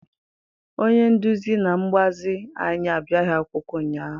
Onye nduzi na mgbazi anyị abịaghị akwụkwọ ụnyaahụ.